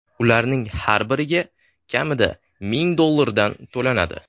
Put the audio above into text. Ularning har biriga kamida ming dollardan to‘lanadi.